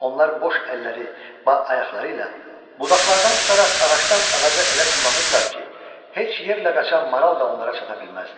Onlar boş əlləri, balayaqları ilə budaqlardan tutaraq ağacdan ağaca elə tullanırdılar ki, heç yerlə qaçan maral da onlara çata bilməzdi.